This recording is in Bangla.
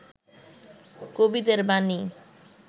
কবিদের বাণী